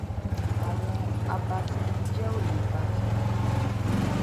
àwọn àbàtánìjẹ ẹ ò lè ba tèmi jẹ